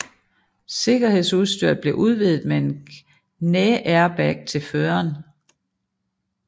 Sikkerhedsudstyret blev udvidet med en knæairbag til føreren